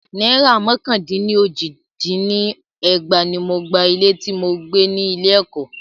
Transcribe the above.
Náìrà mọ́kàn dín ní ójì dín ní ẹgbàá ní mo gba ilé tí mo gbé ni ilé ẹ̀kọ́.